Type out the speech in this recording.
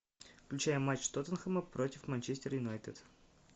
включай матч тоттенхэма против манчестер юнайтед